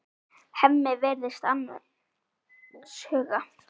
Hemmi virðist annars hugar.